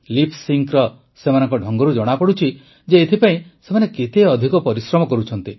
lip sync ସେମାନଙ୍କ ଢଙ୍ଗରୁ ଜଣାପଡୁଛି ଯେ ଏଥିପାଇଁ ସେମାନେ କେତେ ଅଧିକ ପରିଶ୍ରମ କରୁଛନ୍ତି